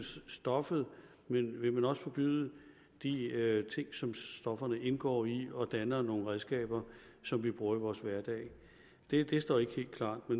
stofferne men vil man også forbyde de ting som stofferne indgår i og som danner nogle redskaber som vi bruger i vores hverdag det det står ikke helt klart nu